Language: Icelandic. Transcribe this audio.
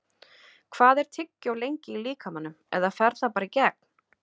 Hvað er tyggjó lengi í líkamanum eða fer það bara í gegn?